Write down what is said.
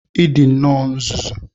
Ị dị nnọọ nzuzu!